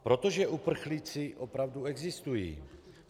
Protože uprchlíci opravdu existují.